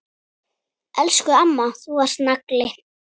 Elsku amma, þú varst nagli.